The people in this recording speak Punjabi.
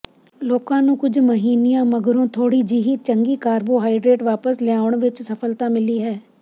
ਲੋਕਾਂ ਨੂੰ ਕੁੱਝ ਮਹੀਨਿਆਂ ਮਗਰੋਂ ਥੋੜ੍ਹੀ ਜਿਹੀ ਚੰਗੀ ਕਾਰਬੋਹਾਈਡਰੇਟ ਵਾਪਸ ਲਿਆਉਣ ਵਿਚ ਸਫਲਤਾ ਮਿਲੀ ਹੈ